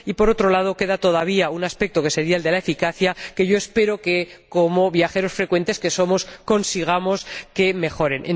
Por otro lado, queda todavía un aspecto, que sería el de la eficacia, que espero que —como viajeros frecuentes que somos— consigamos que mejoren.